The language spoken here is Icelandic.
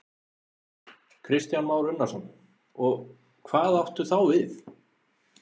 Kristján Már Unnarsson: Og hvað áttu þá við?